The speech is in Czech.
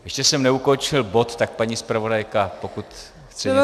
Ještě jsem neukončil bod, tak paní zpravodajka, pokud chce něco říct.